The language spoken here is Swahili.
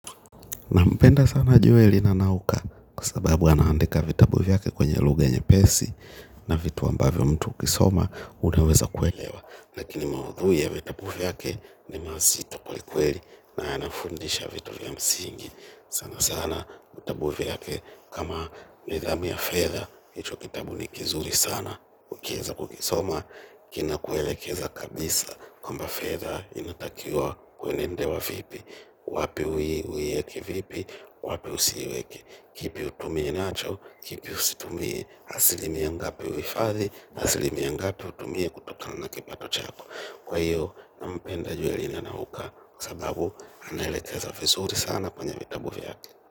Nampenda sana Joeli. Nanauka kwa sababu anaandika vitabu vyake kwenye lugha nyepesi na vitu ambavyo mtu ukisoma unaweza kuelewa. Lakini maudhui vitabu vyake ni mazito kwelikweli na yanafundisha vitu vya msingi. Sana sana vitabu viyake kama Nidhamu ya fedha, hicho kitabu ni kizuri sana ukieza kukisoma. Kinakuelekeza kabisa kwamba fedha inatakiwa kwenendewa vipi wapi ui uieke vipi wapi usiiweke. Kipi utumie nacho. Kipi usitumie asilimia ngape uhifadhi. Asilimia ngapi utumie kutokana na kipato chako. Kwa hiyo Nampenda Joeli. Nanauka kwa sababu anaelekeza vizuri sana kwenye vitabu vyake.